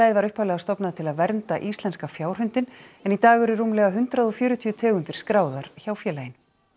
var upphaflega stofnað til að vernda íslenska fjárhundinn en í dag eru rúmlega hundrað og fjörutíu tegundir skráðar hjá félaginu